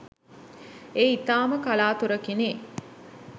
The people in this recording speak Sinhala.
ඒ ඉතාම කලාතුරකිනි.